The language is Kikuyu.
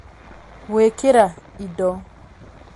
Gũĩkĩra indo.